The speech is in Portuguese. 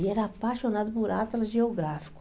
Ele era apaixonado por atlas geográfico.